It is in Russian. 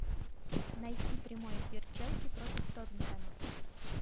найти прямой эфир челси против тоттенхэма